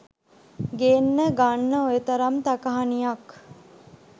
ගෙන්න ගන්න ඔය තරම් තකහනියක්.